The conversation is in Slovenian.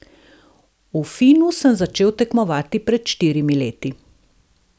V finnu sem začel tekmovati pred štirimi leti.